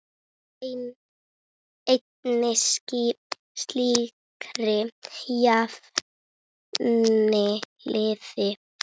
Úr einni slíkri jafnaði liðið.